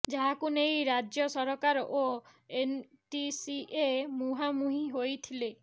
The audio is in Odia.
ଯାହାକୁ ନେଇ ରାଜ୍ୟ ସରକାର ଓ ଏନଟିସିଏ ମୁହାଁମୁହିଁ ହୋଇଥିଲେ